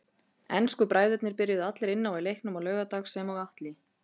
Ensku bræðurnir byrjuðu allir inn á í leiknum á laugardag sem og Atli.